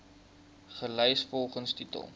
gelys volgens titel